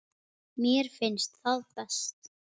Mér finnst það best.